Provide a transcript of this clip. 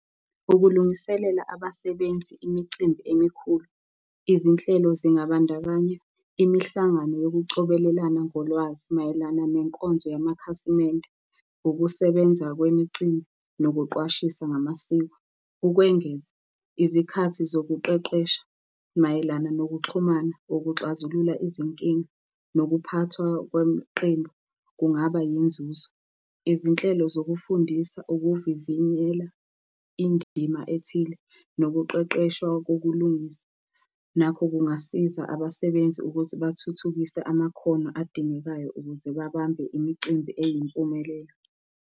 Ukulungiselela abasebenzi imicimbi emikhulu. Izinhlelo zingabandakanya, imihlangano yokucobelelana ngolwazi mayelana nenkonzo yamakhasimende, ukusebenza kwemicimbi nokuqwashisa ngamasiko. Ukwengeza izikhathi zokuqeqesha mayelana nokuxhumana kokuxazulula izinkinga nokuphathwa kweqembu, kungaba yinzuzo. Izinhlelo zokufundisa ukuvivinyela indima ethile nokuqeqeshwa kokulungiswa nakho kungasiza abasebenzi ukuthi bathuthukise amakhono adingekayo ukuze babambe imicimbi eyimpumelelo.